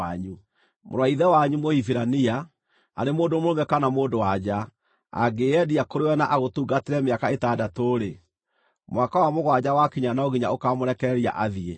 Mũrũ wa ithe wanyu Mũhibirania, arĩ mũndũ mũrũme kana mũndũ-wa-nja, angĩĩyendia kũrĩ we na agũtungatĩre mĩaka ĩtandatũ-rĩ, mwaka wa mũgwanja wakinya no nginya ũkaamũrekereria athiĩ.